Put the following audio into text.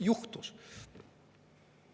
Juhtus!